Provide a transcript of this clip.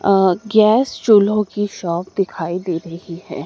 अ gas चुल्हो की shop दिखाई दे रही है।